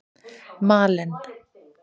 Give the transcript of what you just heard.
Malen